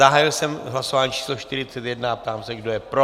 Zahájil jsem hlasování číslo 41 a ptám se, kdo je pro.